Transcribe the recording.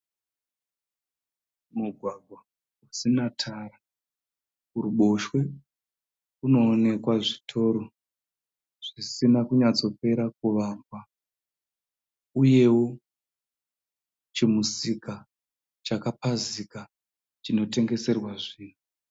Mugwagwa usina tara. Kuruboshwe kunoonekwa zvitoro zvisina kunyatsopera kuvakwa uyewo chimusika chakapazika chinotengeserwa zvinhu.